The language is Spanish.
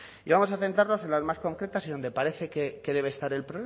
y vamos a centrarnos en las más concretas y donde parece que debe estar el